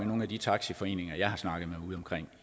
nogen af de taxaforeninger jeg har snakket med ude